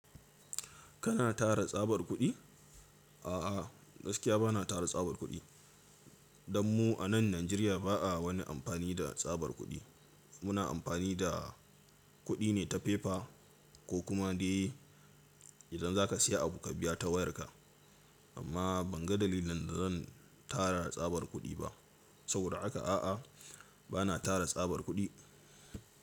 Kana tara tsabar kuɗi? A'a, gaskiya ba na tara tsabar kuɗi. Dan mu a nan Najeriya ba a wani amfani da tsabar kuɗi. Muna amfani da kuɗi ne ta fefa ko kuma dai idan za ka siya abu ka biya ta wayarka. Amma ban ga dalilin da zan tara tsabar kuɗi ba. Saboda haka a'a, ba na tara tsabar kuɗi.